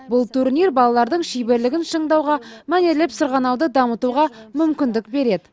бұл турнир балалардың шеберлігін шыңдауға мәнерлеп сырғанауды дамытуға мүмкіндік береді